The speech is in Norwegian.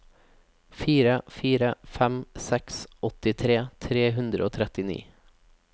fire fire fem seks åttitre tre hundre og trettini